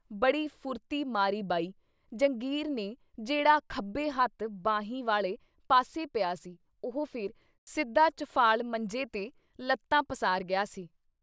ਬੜੀ ਫੁਰਤੀ ਮਾਰੀ ਬਈ ਜੰਗੀਰ ਨੇ ਜਿਹੜਾ ਖੱਬੇ ਹੱਥ ਬਾਹੀ ਵਾਲੇ ਪਾਸੇ ਪਿਆ ਸੀ ਉਹ ਫਿਰ ਸਿੱਧਾ ਚੁਫਾਲ ਮੰਜੇ 'ਤੇ ਲੱਤਾਂ ਪਸਾਰ ਗਿਆ ਸੀ।